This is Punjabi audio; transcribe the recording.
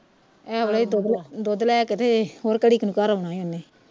ਇਹ ਵੇ ਲੇ ਦੁੱਧ ਦੁੱਧ ਲੈ ਕੇ ਤੇ ਹੋਰ ਘੜੀ ਕਿ ਨੂੰ ਘਰ ਆਉਣਾ ਹੀ ਓਹਨੇ